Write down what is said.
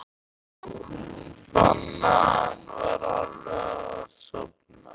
Hún fann að hann var alveg að sofna.